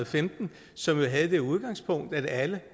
femten som jo havde det udgangspunkt at alle